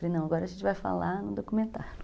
Falei, não, agora a gente vai falar no documentário